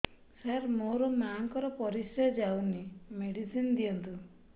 ସାର ମୋର ମାଆଙ୍କର ପରିସ୍ରା ଯାଉନି ମେଡିସିନ ଦିଅନ୍ତୁ